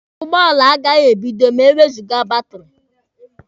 Ụgbọala agaghị ebido ma ewezụga batiri.